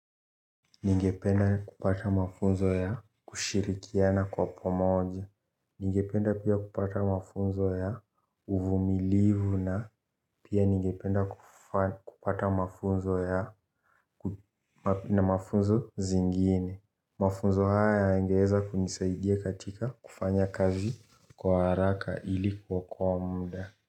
Ningependa kupata mafunzo ya kushirikiana kwa pamoja. Ningependa pia kupata mafunzo ya uvumilivu na pia ningependa kupata mafunzo ya na mafunzo zingine. Mafunzo haya yangeweza kunisaidia katika kufanya kazi kwa haraka ili kuokoa muda.